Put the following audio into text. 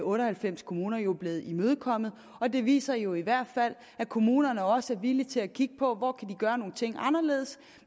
otte og halvfems kommuner jo blevet imødekommet og det viser jo i hvert fald at kommunerne også er villige til at kigge på hvor de kan gøre nogle ting anderledes